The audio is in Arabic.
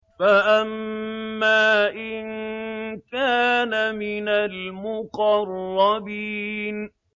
فَأَمَّا إِن كَانَ مِنَ الْمُقَرَّبِينَ